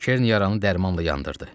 Kern yaranı dərmanla yandırdı.